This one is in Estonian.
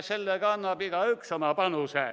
Sellega annab igaüks oma panuse.